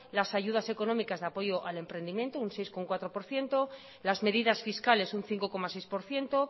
las ayudas económicas de apoyo al emprendimiento un seis coma cuatro por ciento las medidas fiscales un cinco coma seis por ciento